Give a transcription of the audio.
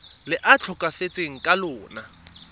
le a tlhokafetseng ka lona